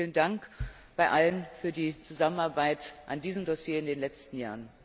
Vielen Dank an alle für die Zusammenarbeit an diesem Dossier in den letzten Jahren!